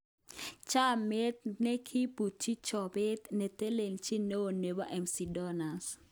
Chomiet nekibutyi chobet netelechin neo nebo McDonalds